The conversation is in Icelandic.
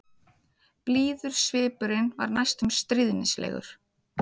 Blíður svipurinn var næstum stríðnislegur.